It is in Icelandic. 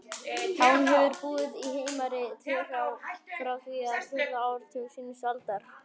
Hán hefur búið í Heimari-þverá frá því á fjórða áratug seinustu aldar.